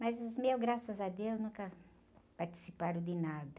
Mas os meus, graças a Deus, nunca participaram de nada.